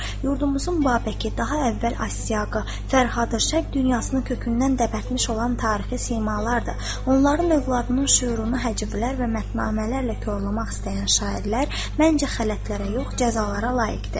Yurdumuzun Babəki, daha əvvəl Asyağı, Fərhadı, Şərq dünyasını kökündən dəbətmiş olan tarixi simalardır, onların övladının şüurunu həcivlər və mətnamələrlə korlamaq istəyən şairlər məncə xələtlərə yox, cəzalara layiqdir.